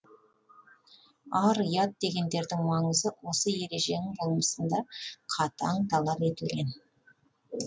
ар ұят дегендердің маңызы осы ереженің болмысында қатаң талап етілген